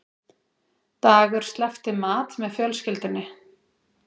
Dagur sleppti mat með fjölskyldunni